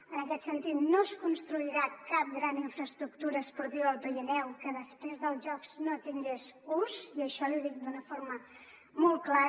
en aquest sentit no es construirà cap gran infraestructura esportiva al pirineu que després dels jocs no tingués ús i això li dic d’una forma molt clara